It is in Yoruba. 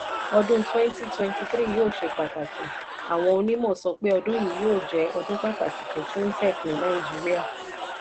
ọdún twenty twenty three yóò ṣe pàtàkì: àwọn onímọ̀ sọ pé ọdún yìí yóò jẹ́ ọdún pàtàkì fún fintech ní nàìjíríà.